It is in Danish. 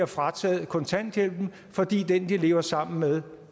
frataget kontanthjælpen fordi den de lever sammen med